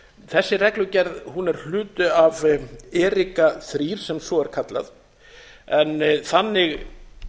þessi reglugerð er hluti af erika þrjú sem svo er kallað en þannig